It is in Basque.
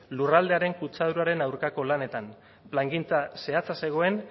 lurraldearen kutsaduraren aurkako lanetan plangintza zehatza zegoen